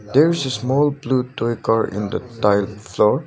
there is a small blue toy car in the tile floor.